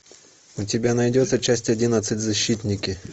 у тебя найдется часть одиннадцать защитники